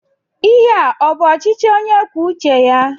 Ihe a ọ bụ ọchịchị onye kwuo uche ya?